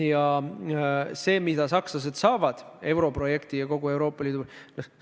See kasu, mida sakslased saavad europrojektist ja kogu Euroopa Liidult, on palju suurem.